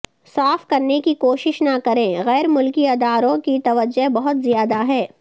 صاف کرنے کی کوشش نہ کریں غیر ملکی اداروں کی توجہ بہت زیادہ ہے